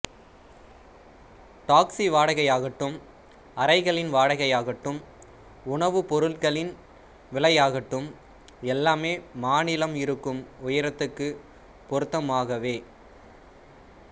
taxi வாடகையாகட்டும் அறைகளின் வாடகையாகட்டும் உணவுப் பொருட்களின் விலையாகட்டும் எல்லாமே மாநிலம் இருக்கும் உயரத்துக்குப் பொருத்தமாகவே